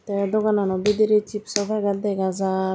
tey doganano bidrey chipso packet dega jar.